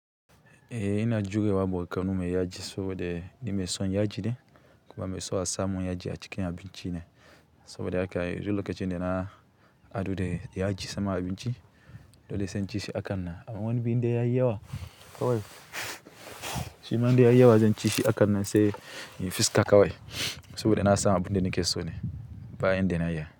Eh ina juya wa bokano mai yaji saboda ni mai son yaji ne. Kuma mai so a samu yaji a cikin abinci ne, saboda haka. Yanzu lokacin da na haɗu da yaji saman abinci, dole zan ci shi a kan nan. Amman indai ya yi yawa kawai. Shi man da ya yi yawa zan ci shi a kan nan sai in fuska kawai saboda nasan abin da nake so nayi bayan da na iya.